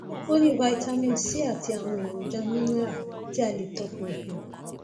ó ní vitamin c àti àwọn èròjà mineral tí a lè tọpinpin